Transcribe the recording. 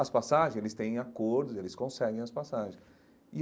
As passagens, eles têm acordos, eles conseguem as passagens e.